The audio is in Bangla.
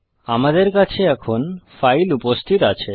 আমাদের কাছে এখন ফাইল উপস্থিত আছে